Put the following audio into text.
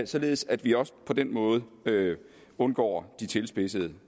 således at vi også på den måde undgår de tilspidsede